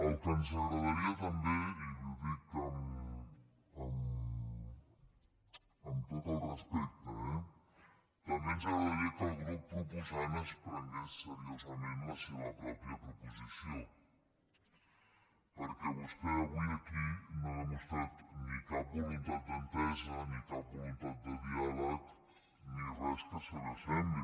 el que ens agradaria també i li ho dic amb tot el respecte eh que el grup proposant es prengués seriosament la seva pròpia proposició perquè vostè avui aquí no ha demostrat ni cap voluntat d’entesa ni cap voluntat de dià leg ni res que se li assembli